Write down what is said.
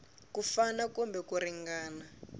ku fana kumbe ku ringana